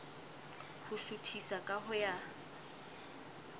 ho suthisa ka ho ya